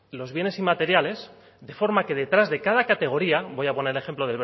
los bienes inmateriales de forma que detrás de cada categoría voy a poner el ejemplo